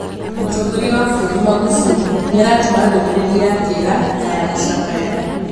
Mũtongoria wa bũrũri Magufuli nĩaratũma ndũmĩrĩri ya kĩeha na ya gũcakaya